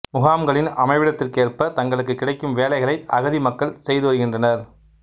முகாம்களின் அமைவிடத்திற்கேற்ப தங்களுக்கு கிடைக்கும் வேலைகளை அகதி மக்கள் செய்து வருகின்றனர்